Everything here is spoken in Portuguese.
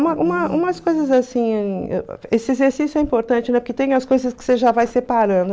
Uma uma umas coisas assim, esse exercício é importante, né, porque tem as coisas que você já vai separando.